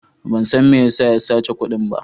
Ban san me ya sa ya sace kudin ba.